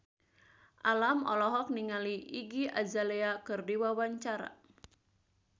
Alam olohok ningali Iggy Azalea keur diwawancara